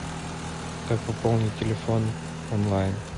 как пополнить телефон онлайн